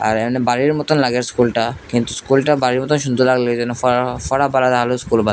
আর এহানে বাড়ির মতো লাগে স্কুলটা কিন্তু স্কুলটা বাড়ির মত সুন্দর লাগলেও যেন ।